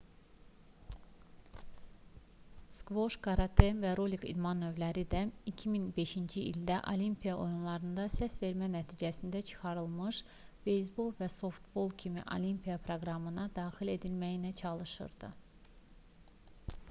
skvoş karate və rolik idman növləri də 2005-ci ildə olimpiya oyunlarından səsvermə nəticəsində çıxarılmış beyzbol və softbol kimi olimpiya proqramına daxil edilməyə çalışırdı